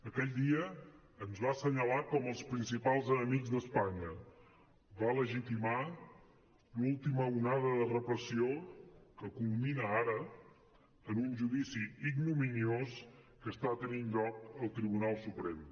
aquell dia ens va assenyalar com els principals enemics d’espanya va legitimar l’última onada de repressió que culmina ara en un judici ignominiós que està tenint lloc al tribunal suprem